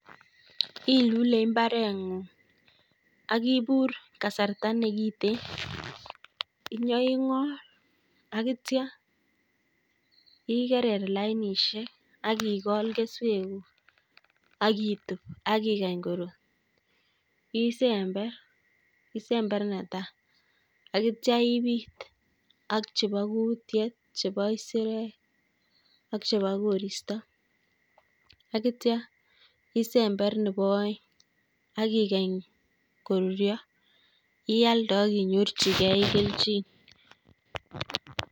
Ilule mbaretng'ung' akibur kasarta neng'ite akitcha igerer lainisiek akikool keswekuk, akitub, akikany korur, isember isember netai, akitcha ibiit ak chebo kutyet, chebo kisirek, ak chebo koristo akitcha isember nebo aeng' akikany koruryo ialde akinyorchigei kelchin